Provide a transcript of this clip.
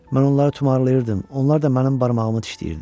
Mən onları tumarlayırdım, onlar da mənim barmağımı dişləyirdi.